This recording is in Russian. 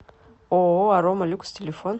ооо арома люкс телефон